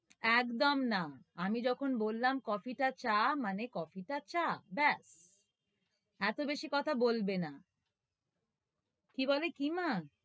একদম না আমি যখন বললাম কফিটা চা, মানে কফিটা চা ব্য়াস এতো বেশি কথা বলবে না কি বলে! কি না,